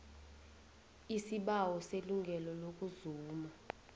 isibawo selungelo lokuzuma